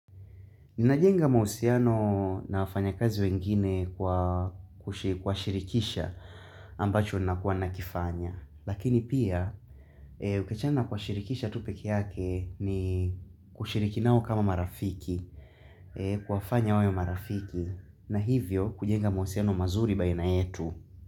Ninajenga mahusiano na wafanyakazi wengine kwa kuwashirikisha ambacho ninakuwa ninakifanya. Lakini pia, ukiachana na kuwashirikisha tu peke yake ni kushiriki nao kama marafiki, kuwafanya wawe marafiki, na hivyo kujenga mahusiano mazuri baina yetu.